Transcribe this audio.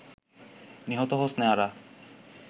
নিহত হোসনে আরা